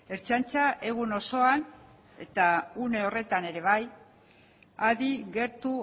ertzaintza egun osoan eta une horretan ere adi gertu